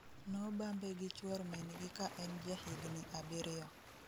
Nobambe gi chuor min gi ka en ja higni abirio